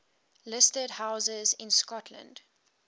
listed houses in scotland